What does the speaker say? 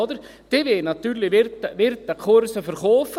Diese wollen natürlich Wirtekurse verkaufen.